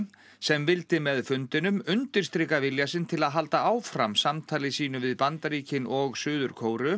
sem vildi með fundinum undirstrika vilja sinn til að halda áfram samtali sínu við Bandaríkin og Suður Kóreu